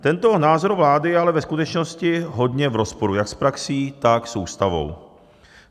Tento názor vlády je ale ve skutečnosti hodně v rozporu jak s praxí, tak s Ústavou.